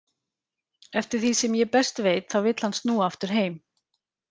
Eftir því sem ég best veit þá vill hann snúa aftur heim.